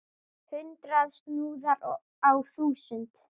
Hundrað snúðar á þúsund!